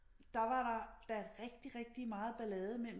Der var der da rigtig rigtig meget ballade imellem